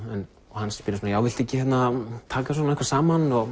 hann spyr svona já viltu ekki taka eitthvað saman og